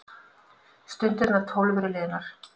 Stundirnar tólf eru liðnar.